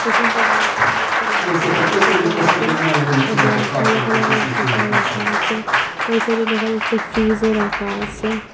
ড্রেসিংটেবিলের সামনে কিছু লাল কালারের সোফা আসে এবং কালো কালারের সোফাও রাখা আসে ওই সাইডে দেখা যাচ্ছে ফ্রিজও রাখা আসে।